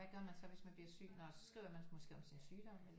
Hvad gør man så hvis man bliver syg nå så skriver man måske om sin sygdom eller